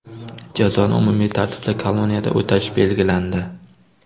Jazoni umumiy tartibli koloniyada o‘tash belgilandi.